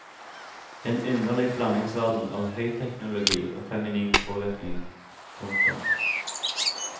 En underlig blandingsverden av høyteknologi og feminin påvirkning. punktum